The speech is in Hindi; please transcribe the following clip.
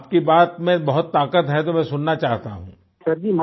तो आपकी बात में बहुत ताकत है तो मैं सुनना चाहता हूँ